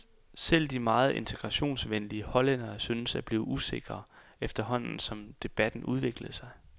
Selv de meget integrationsvenlige hollændere syntes at blive usikre, efterhånden som debatten udviklede sig.